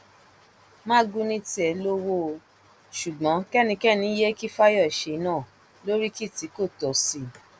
magu ní tiẹ lówó ó ṣùgbọn kẹnikẹni yéé kí fáyọṣe náà lóríkì tí kò tọ sí i